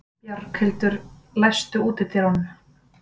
Bjarghildur, læstu útidyrunum.